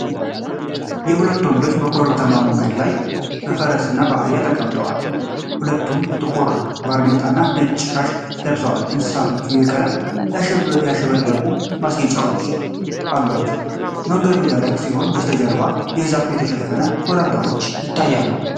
የሁለት ወንዶች በኮረብታማ መንገድ ላይ በፈረስና በአህያ ተቀምጠው ። ሁለቱም ጥቁር ባርኔጣና ነጭ ሻሽ ለብሰው፣ እንስሳቶቹ በቀለማት ያሸበረቁ ማስጌጫዎች አሏቸው። መንገዱ ደረቅ ሲሆን ከበስተጀርባ በዛፍ የተሸፈኑ ኮረብታዎች ይታያሉ።